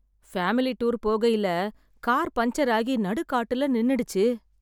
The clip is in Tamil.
ஃபேமிலி டூர் போகையில கார் பஞ்சர் ஆகி நடுக்காட்டுல நின்னுடுச்சு.